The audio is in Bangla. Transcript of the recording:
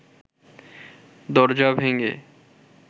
দরজা ভেঙে